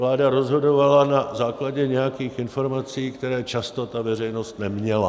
Vláda rozhodovala na základě nějakých informací, které často ta veřejnost neměla.